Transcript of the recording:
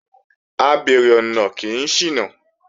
Abeèrè ọ̀nà kì í ṣìnà